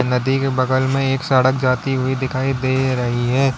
नदी के बगल में एक सड़क जाती हुई दिखाई दे रही है।